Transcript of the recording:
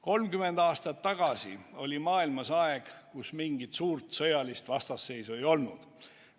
30 aastat tagasi oli maailmas aeg, kus mingit suurt sõjalist vastasseisu ei olnud.